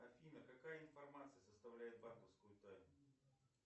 афина какая информация составляет банковскую тайну